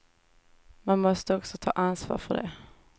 Man måste också ta ansvar för det.